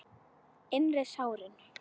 Innri sárin.